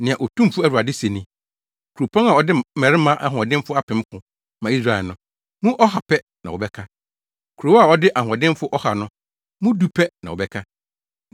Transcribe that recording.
Nea Otumfo Awurade se ni: “Kuropɔn a ɔde mmarima ahoɔdenfo apem ko ma Israel no, mu ɔha pɛ na wɔbɛka; Kurow a ɔde ahoɔdenfo ɔha no, mu du pɛ na wɔbɛka.”